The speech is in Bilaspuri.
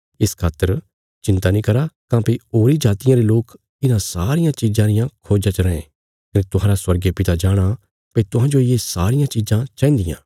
इस खातर चिन्ता नीं करा काँह्भई होरीं जातियां रे लोक इन्हां सारियां चिज़ां रिया खोज्जा च रैं कने तुहांरा स्वर्गीय पिता जाणाँ भई तुहांजो ये सारियां चिज़ां चाहिन्दियां